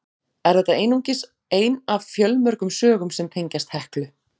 Er þetta einungis ein af fjölmörgum sögum sem tengjast Heklu.